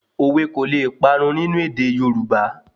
Òwe kò le parun nínú èdè Yorùbá